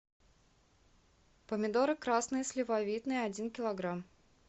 помидоры красные сливовидные один килограмм